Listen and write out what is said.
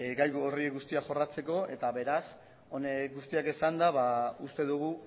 gai gogor horiek guztiak jorratzeko eta beraz honek guztiak esanda ba uste dugu